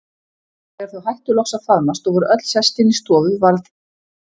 Þegar þau hættu loks að faðmast og voru öll sest inn í stofu varð